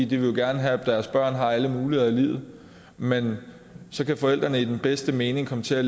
de vil jo gerne have at deres børn har alle muligheder i livet men så kan forældrene i den bedste mening komme til at